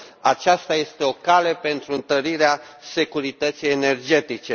Aceasta este o cale pentru întărirea securității energetice.